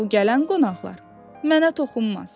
Bu gələn qonaqlar mənə toxunmaz.